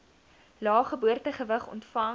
lae geboortegewig ontvang